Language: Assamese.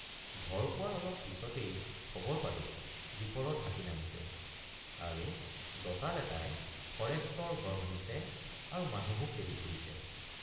ঘৰ পোৱাৰ অলপ পিচতেই খবৰ পালোঁ দীপৰত হাতী নামিছে আৰু দঁতাল এটাই ফৰেষ্টৰ ঘৰ ভাঙিছে আৰু মানুহো খেদি ফুৰিছে।